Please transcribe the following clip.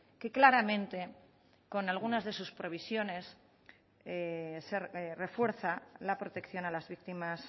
que claramente con algunas de sus previsiones refuerza la protección a las víctimas